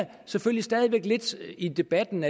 selvfølgelig stadig væk lidt i debatten